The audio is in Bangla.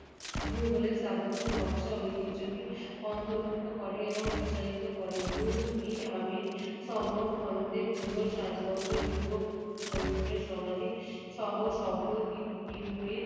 মোগলের স্থাপত্যের নকশা ও ঐতিহ্যকে অন্তর্ভুক্ত করে এবং প্রসারিত করে। গোর-ই-আমির সমরখন্ডের মোগল রাজবংশের পূর্বপুরুষ তৈমুরের সমাধিসহ সকল